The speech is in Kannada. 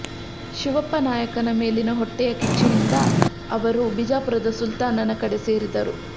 ಶಿವಪ್ಪನಾಯಕನ ಮೇಲಿನ ಹೊಟ್ಟೆಯ ಕಿಚ್ಚಿನಿಂದ ಅವರು ಬಿಜಾಪುರದ ಸುಲ್ತಾನನ ಕಡೆ ಸೇರಿದರು